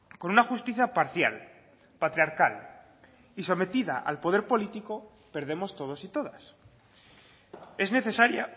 con una justicia parcial patriarcal y sometida al poder político perdemos todos y todas es necesaria